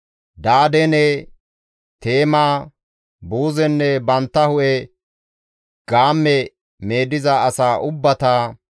Dadaane, Teema, Buuzenne bantta hu7e gaamme meediza asaa ubbata,